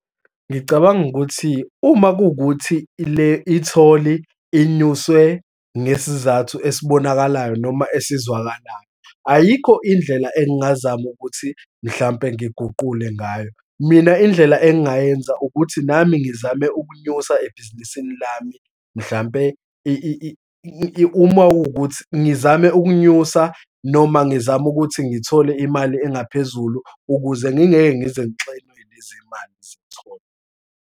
Ngicabanga ukuthi uma kuwukuthi le-itholi inyuswe ngesizathu esibonakalayo noma esizwakalayo, ayikho indlela engingazama ukuthi mhlampe ngiguqule ngayo. Mina indlela engingayenza ukuthi nami ngizame ukunyusa ebhizinisini lami, mhlampe uma kuwukuthi, ngizame ukunyusa noma ngizame ukuthi ngithole imali engaphezulu ukuze ngingeke ngize ngixinwe yilezi mali zetholi.